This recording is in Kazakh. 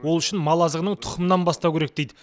ол үшін мал азығының тұқымынан бастау керек дейді